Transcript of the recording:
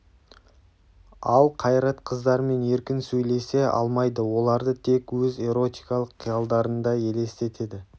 ал қайрат қыздармен еркін сөйлесе алмайды оларды тек өз эротикалық қиялдарында елестетеді